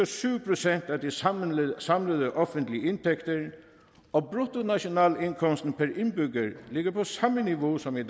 syv procent af de samlede samlede offentlige indtægter og bruttonationalindkomsten per indbygger ligger på samme niveau som i